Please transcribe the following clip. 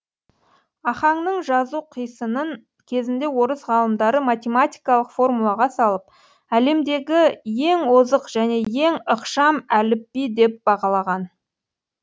ахаңның жазу қисынын кезінде орыс ғалымдары математикалық формулаға салып әлемдегі ең озық және ең ықшам әліпби деп бағалаған